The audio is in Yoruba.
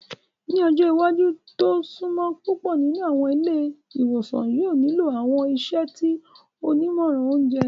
Ni ọjọ iwaju ti o sunmọ, pupọ ninu awọn ile-iwosan yoo nilo awọn iṣẹ ti onimọran ounjẹ.